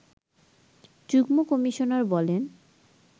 যুগ্ম কমিশনার বলেন